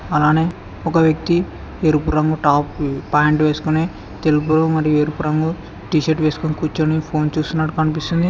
అలానే ఒక వ్యక్తి ఎరుపు రంగు టాప్ ప్యాంట్ వేసుకుని తెలుపు మరియు ఎరుపు రంగు టీ షర్ట్ వేసుకొని కూర్చుని ఫోన్ చూస్తున్నట్టు కనిపిస్తుంది.